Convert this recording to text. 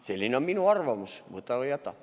Selline on minu arvamus, võta või jäta.